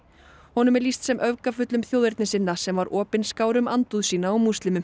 honum er lýst sem öfgafullum þjóðernissinna sem var opinskár um andúð sína á múslimum